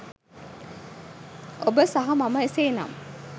ඔබ සහ මම එසේනම්